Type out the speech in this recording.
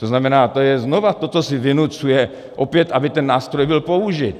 To znamená, to je znova to, co si vynucuje opět, aby ten nástroj byl použit.